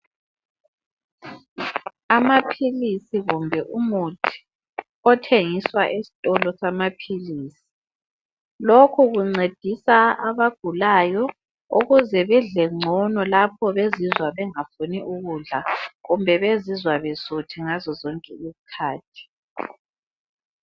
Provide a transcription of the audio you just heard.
Amaphilisi kumbe umuthi othengiswa esitolo samaphilisi lokhu kuncedisa abagulayo ukuze bedle ngcono lapho bezizwa bengafuni ukudla kumbe bezizwa besuthi ngazo zonke izikhathi